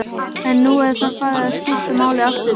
En nú er það farið að skipta máli aftur?